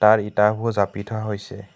ইয়াত ইটাবোৰ জাপি থোৱা হৈছে।